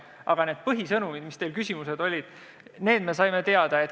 Aga need põhisõnumid, mille kohta teil küsimused olid, me saime teada.